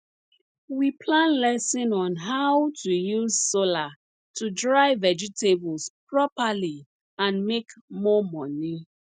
we plan lesson on how to use solar to dry vegetables properly and make more money